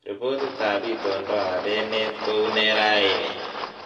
Ripotitab itondoab enet kounee raini